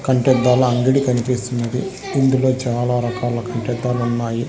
కంటేద్దాల అంగిడి కనిపిస్తున్నది ఇందులో చాలా రకాల కంటేద్దాలు ఉన్నాయి.